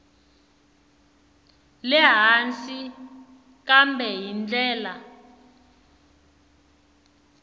le hansi kambe hi ndlela